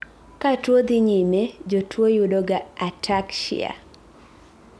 ka tuwo dhii nyime, jotuwo yudoga ataxia